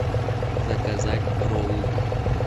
заказать роллы